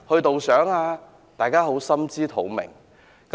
大家都心知肚明。